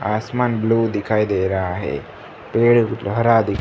आसमान ब्लू दिखाई दे रहा है पेड़ हरा--